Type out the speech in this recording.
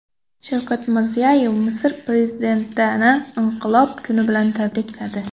Shavkat Mirziyoyev Misr prezidentini Inqilob kuni bilan tabrikladi.